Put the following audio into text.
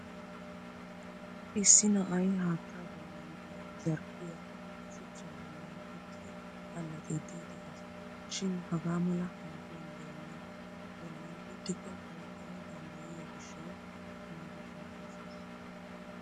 Issi na'ay haattaa bollan diya zarphphiyaa shuchchaa bollan uttidi allaxxiiddi de'es. Shin hagaa mala aafuwan donaa bollan uttikko ooggana danddayiyoo gishshawu naagettana koshshes.